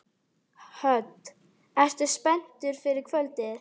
Hödd: Ertu spenntur fyrir kvöldinu?